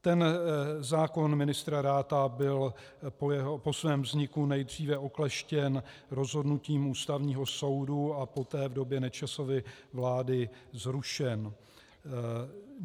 Ten zákon ministra Ratha byl po svém vzniku nejdříve okleštěn rozhodnutím Ústavního soudu a poté v době Nečasovy vlády zrušen.